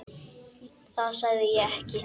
Það segi ég ekki.